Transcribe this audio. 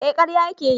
Eh karya ya ke yi